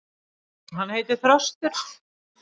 Hann heitir Þröstur.